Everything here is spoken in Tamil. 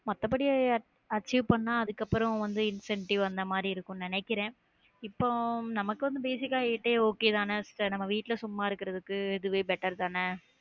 மத்தபடி achieve பண்ணா அதுக்கப்புறம் வந்து incentive அந்த மாதிரி இருக்கும்னு நினைக்கிறேன் இப்போ நமக்கும் basic ஆ இதே okay தானே? இல்ல, நம்ம வீட்டுல சும்மா இருக்கிறதுக்கு, இதுவே better தானே